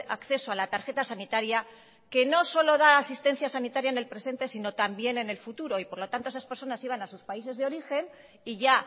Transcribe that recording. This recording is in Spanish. acceso a la tarjeta sanitaria que no solo da asistencia sanitaria en el presente sino también en el futuro y por lo tanto esas personas iban a sus países de origen y ya